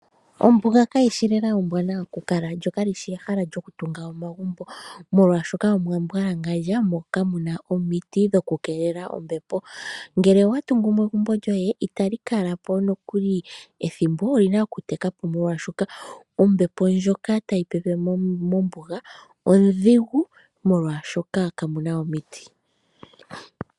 Ombuga kayi shi lela ombwanawa ku kala, lyo kalishi ehala lyokutunga omagumbo molwaashoka omwa mbwalangandja, mo kamuna omiti dhoku keelela ombepo. Ngele owa tungumo egumbo lyoye, itali kala po nokuli ethimbo oli na okuteka po molwashoka ombepo ndjoka tayi pepe mombuga ondhigu molwaashoka ka mu na omiti.